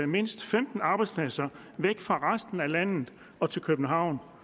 mindst femten arbejdspladser væk fra resten af landet og til københavn